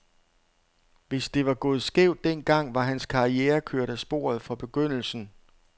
Hvis det var gået skævt den gang, var hans karriere kørt af sporet fra begyndelsen.